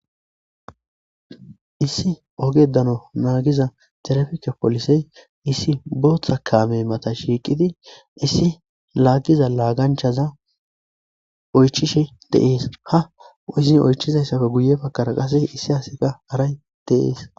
Issi ogedano naagiza serefike poolisey issi booththa kaame mata shiiqidi issi laagiza laaganchaza oychishe deees ha uzin oychizayssafe guye pakara qase issi haseka haray deees